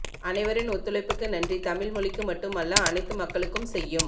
அனைவரின் ஒத்துழைப்புக்கு நன்றி தமிழ் மொழிக்கு மட்டும் அல்ல அனைத்து மக்களுக்கும் செய்யும்